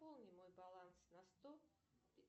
пополни мой баланс на сто